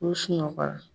U sunɔgɔra